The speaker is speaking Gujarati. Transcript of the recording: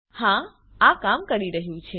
હા આ કામ કરી રહ્યું છે